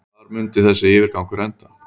Hvar mundi þessi yfirgangur enda?